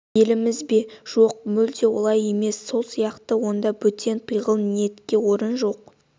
еліміз бе жоқ мүлде олай емес сол сияқты онда бөтен пиғыл-ниетке орын жоқ